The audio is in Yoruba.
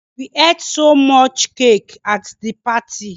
We ate so much cake at the party